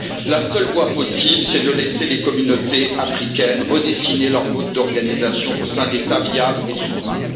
La seule voie possible, c'est de laisser les communautés africaines redessiner leur mode d'organisation au sein d'États viables et souverains.